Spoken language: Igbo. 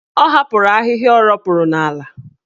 Ọ hapụrụ ahịhịa o ropuru n'ala.